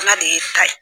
Ala de ye ta ye